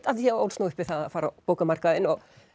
af því ég ólst nú upp við að fara á bókamarkaðinn